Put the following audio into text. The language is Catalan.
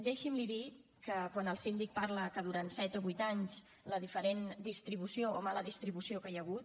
deixi’m dir li que quan el síndic parla que durant set o vuit anys la diferent distribució o la mala distribució que hi ha hagut